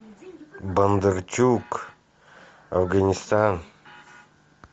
бондарчук афганистан